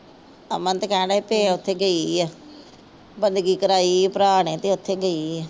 ਅਮਨ ਤਾਂ ਕਹਿਣ ਰਿਹਾ ਤੇ ਉਥੇ ਗਈ ਆ। ਬੰਦਗੀ ਕਰਾਈ ਭਰਾ ਨੇ ਤੇ ਉੱਥੇ ਗਈ ਆ।